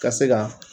Ka se ka